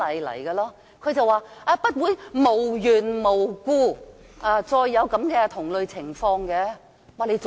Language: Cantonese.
"他回應不會無緣無故再出現同類情況。